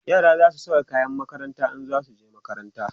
yara zasu Saka kayan makaranta in zasu zo makaranta